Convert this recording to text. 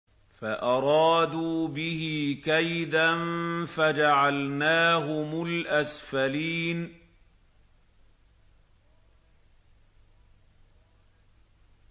فَأَرَادُوا بِهِ كَيْدًا فَجَعَلْنَاهُمُ الْأَسْفَلِينَ